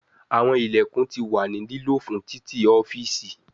Awọn ilẹkun ti wa ni lilo fun titi ọfiisi